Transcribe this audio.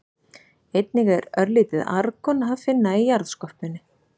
Einnig er örlítið argon að finna í jarðskorpunni.